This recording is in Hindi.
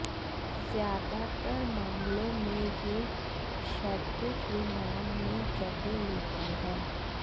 ज्यादातर मामलों में यह क्षैतिज विमान में जगह लेता है